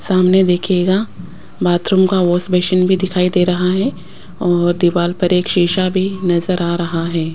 सामने देखिएगा बाथरूम का वाश बेसिन भी दिखाई दे रहा है और दीवार पर एक शीशा भी नज़र आ रहा है।